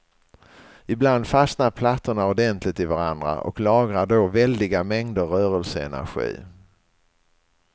Ibland fastnar plattorna ordentligt i varandra och lagrar då väldiga mängder rörelseenergi.